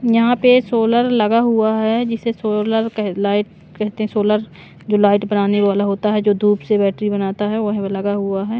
यहां पे सोलर लगा हुआ है जिसे सोलर क लाइट कहते हैं सोलर जो लाइट बनाने वाला होता है जो धूप से बैटरी बनाता है वह लगा हुआ है।